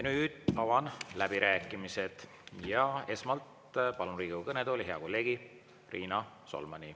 Nüüd avan läbirääkimised ja esmalt palun Riigikogu kõnetooli hea kolleegi Riina Solmani.